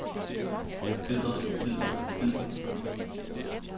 bidder bidder bidder